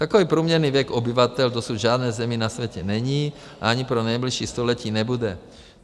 Takový průměrný věk obyvatel v dosud žádné zemi na světě není, ani pro nejbližší století nebude.